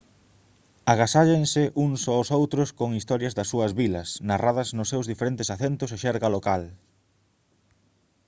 agasállanse uns aos outros con historias das súas vilas narradas nos seus diferentes acentos e xerga local